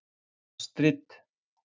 Astrid